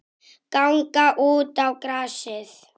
Ganga út á grasið.